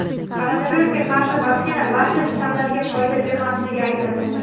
Koronavirusga qarshi vaksina barcha shtammlarga foyda bermasligi aytildi.